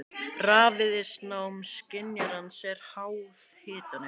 Rafviðnám skynjarans er háð hitanum.